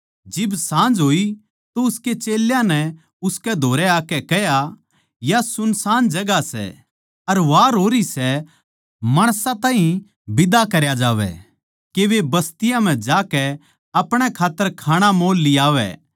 जिब साँझ होई तो उसकै चेल्यां नै उसकै धोरै आकै कह्या या सुनसान जगहां सै अर वार होरी सै माणसां ताहीं बिदा करया जावै के वे बस्तियाँ म्ह जाकै अपणे खात्तर खाणा मोल लियावै